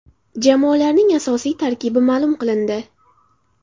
Jamoalarning asosiy tarkibi ma’lum qilindi.